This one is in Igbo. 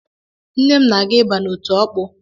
Nne m na-aga ịba n’otu Ọkpụ